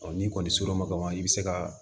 n'i kɔni ser'o ma ka ban i bɛ se ka